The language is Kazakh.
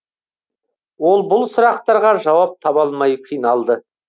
ол бұл сұрақтарға жауап таба алмай қиналды